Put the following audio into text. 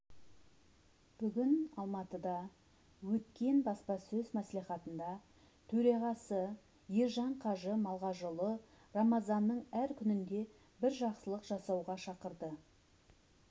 бүгін алматыда өткен баспасөз мәслихатында төрағасы ержан қажы малғажыұлы рамазанның әр күнінде бір жақсылық жасауға шақырды